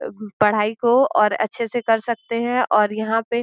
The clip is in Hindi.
पढ़ाई को और अच्छे से कर सकते हैं और यहाँ पे (पर) --